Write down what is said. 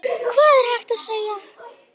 Hvað er hægt að segja?